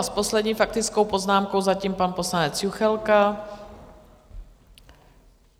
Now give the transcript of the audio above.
A s poslední faktickou poznámkou zatím pan poslanec Juchelka.